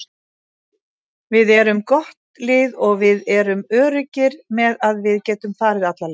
Við erum gott lið og við erum öruggir með að við getum farið alla leið.